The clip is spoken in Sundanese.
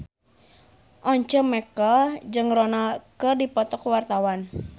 Once Mekel jeung Ronaldo keur dipoto ku wartawan